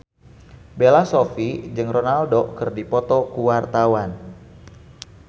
Bella Shofie jeung Ronaldo keur dipoto ku wartawan